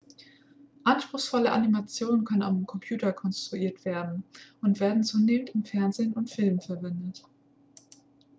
anspruchsvolle animationen können am computer konstruiert werden und werden zunehmend im fernsehen und in filmen verwendet